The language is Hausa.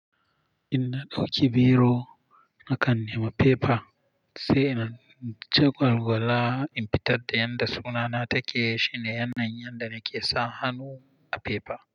In na ɗauki biro, na kan nema fefa sai in jagalgala in fitar da yanda sunana take, shine yanayin yanda nake sa hannu a fefa.